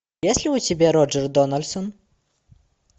есть ли у тебя роджер дональдсон